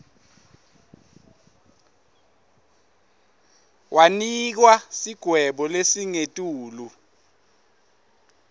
wanikwa sigwebo lesingetulu